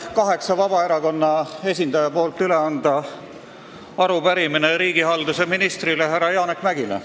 Mul on Vabaerakonna kaheksa esindaja nimel üle anda arupärimine riigihalduse ministrile härra Janek Mäggile.